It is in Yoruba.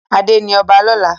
Ade ní ọba lọla.